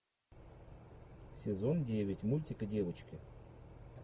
сезон девять мультика девочки